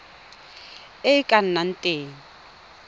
e e ka nnang teng